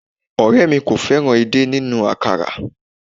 Òré mi kò fẹ́ràn èdè nínú àkàrà